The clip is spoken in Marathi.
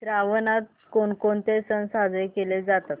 श्रावणात कोणकोणते सण साजरे केले जातात